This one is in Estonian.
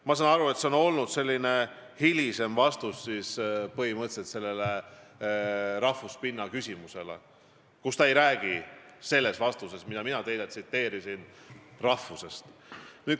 " Ma saan aru, et see on olnud hilisem vastus põhimõtteliselt sellele rahvuse pinnalt esitatud küsimusele, ta ei räägi selles vastuses, mida mina teile tsiteerisin, rahvusest.